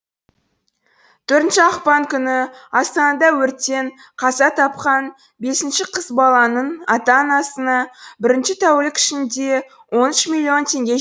төртінші ақпан күні астанада өрттен қаза тапқан бес қыз баланың ата анасына бірінші тәулік ішінде он үш миллион теңге